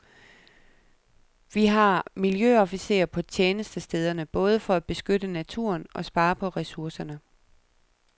Vi har miljøofficerer på tjenestestederne både for at beskytte naturen og spare på ressourcerne.